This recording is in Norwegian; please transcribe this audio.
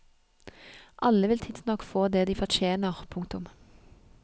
Alle vil tidsnok få det de fortjener. punktum